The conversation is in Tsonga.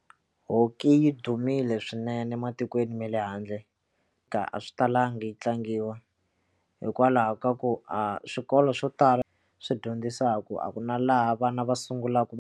Hockey yi dumile swinene ematikweni ma le handle ka a swi talangi yi tlangiwa hikwalaho ka ku a swikolo swo tala swi dyondzisaku a ku na laha vana va sungulaku.